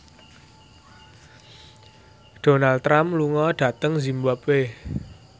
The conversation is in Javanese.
Donald Trump lunga dhateng zimbabwe